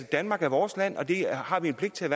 danmark er vores land og at det har vi en pligt til